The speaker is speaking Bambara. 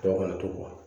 Dɔw kana to